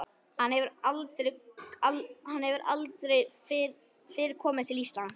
Hann hefur aldrei fyrr komið til Íslands.